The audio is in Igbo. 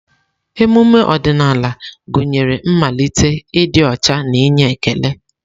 Emume ọdịnala gụnyere mmalite, ịdị ọcha na inye ekele.